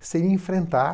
seria enfrentar